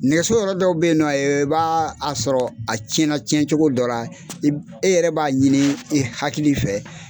Nɛgɛso yɔrɔ dɔw bɛ ye nɔ ba a sɔrɔ a cɛn na cɛncogo dɔ i e yɛrɛ b'a ɲini i hakili fɛ